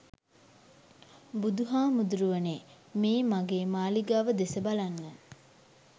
බුදුහාමුදුරුවනේ, මේ මගේ මාලිගාව දෙස බලන්න.